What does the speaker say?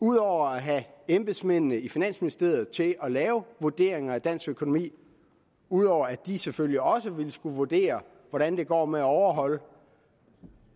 udover at have embedsmændene i finansministeriet til at lave vurderinger af dansk økonomi ud over at de selvfølgelig også vil skulle vurdere hvordan det går med at overholde